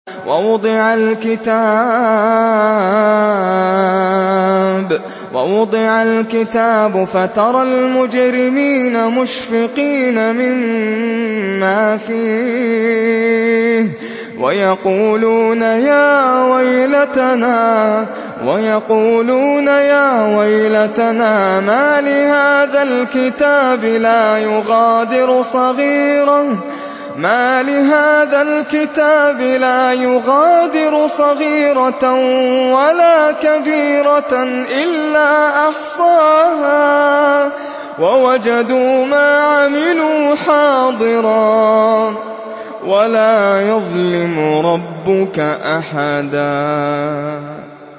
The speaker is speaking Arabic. وَوُضِعَ الْكِتَابُ فَتَرَى الْمُجْرِمِينَ مُشْفِقِينَ مِمَّا فِيهِ وَيَقُولُونَ يَا وَيْلَتَنَا مَالِ هَٰذَا الْكِتَابِ لَا يُغَادِرُ صَغِيرَةً وَلَا كَبِيرَةً إِلَّا أَحْصَاهَا ۚ وَوَجَدُوا مَا عَمِلُوا حَاضِرًا ۗ وَلَا يَظْلِمُ رَبُّكَ أَحَدًا